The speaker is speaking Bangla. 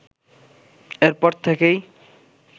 এর পর থেকেই